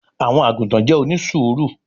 àwọn àgùtàn jẹ́ onísùúrù